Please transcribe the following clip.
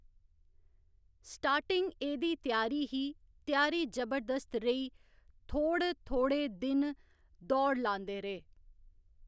Starting एह्दी त्यारी ही त्यारी जबरदस्त रेही थोह्ड़ थोह्ड़े दिन दौड़ लांदे रेह्।